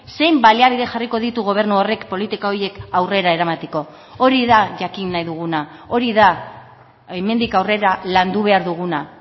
zein baliabide jarriko ditu gobernu horrek politika horiek aurrera eramateko hori da jakin nahi duguna hori da hemendik aurrera landu behar duguna